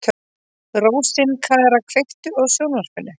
Rósinkara, kveiktu á sjónvarpinu.